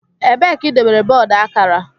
Ebee ka idobere bọọdụ akara?